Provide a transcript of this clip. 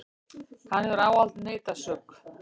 Hann hefur ávallt neitað sök.